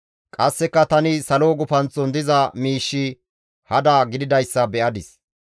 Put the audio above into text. Qasseka tani salo gufanththon diza miishshi hada gididayssa be7adis.